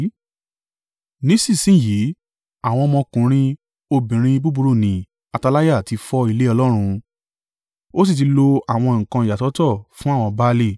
Nísinsin yìí, àwọn ọmọkùnrin obìnrin búburú ni Ataliah ti fọ́ ilé Ọlọ́run, ó sì ti lo àwọn nǹkan ìyàsọ́tọ̀ fún àwọn Baali.